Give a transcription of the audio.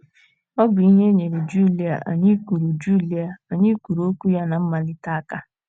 Ọ bụ ihe nyeere Julia anyị kwuru Julia anyị kwuru okwu ya ná mmalite aka.